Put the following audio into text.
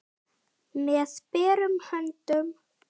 Með berum höndum.